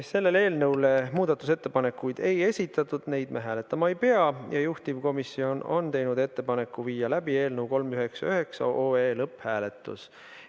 Selle eelnõu kohta muudatusettepanekuid ei esitatud, seega neid me hääletama ei pea, ja juhtivkomisjon on teinud ettepaneku viia läbi eelnõu 399 lõpphääletus.